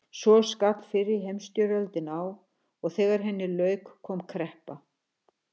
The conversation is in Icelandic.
Svo skall fyrri heimsstyrjöldin á og þegar henni lauk kom kreppa.